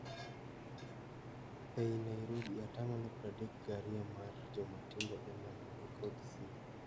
Ei Nairobi atamalo pradek gario mar jomatindo emane nikod simo.